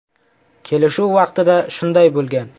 Kelishuv vaqtida shunday bo‘lgan.